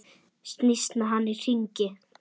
Snýst með hann í hringi.